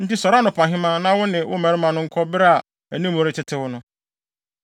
Enti sɔre anɔpahema, na wo ne wo mmarima no nkɔ bere a anim retetew no.”